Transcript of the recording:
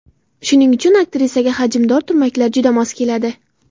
Shuning uchun aktrisaga hajmdor turmaklar juda mos keladi.